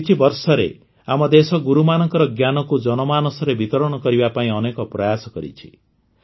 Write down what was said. ଗତ କିଛିବର୍ଷରେ ଆମ ଦେଶ ଗୁରୁମାନଙ୍କର ଜ୍ଞାନକୁ ଜନମାନସରେ ବିତରଣ କରିବା ପାଇଁ ଅନେକ ପ୍ରୟାସ କରିଛି